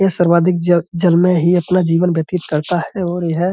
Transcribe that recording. ये सर्वाधिक ज जल में ही अपना जीवन व्यतीत करता है और यह --